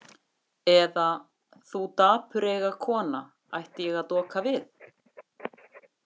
Eða, þú dapureyga kona, ætti ég að doka við?